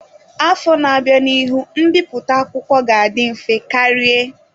Afọ na-abịa, n'ihu mbipụta akwụkwọ ga-adị mfe karie.